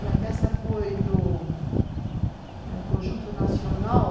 E a festa foi no Conjunto Nacional